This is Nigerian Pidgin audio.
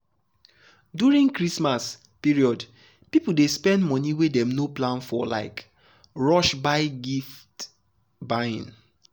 during christmas period people dey spend money wey dem no plan for like rush gift buying.